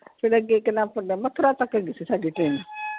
ਫਿਰ ਅੱਗੇ ਨਾਮ ਭੁੱਲ ਗਿਆ, ਮੈਥੁਰਾ ਤੱਕ ਹੈਗੀ ਸੀ ਸਾਡੀ train.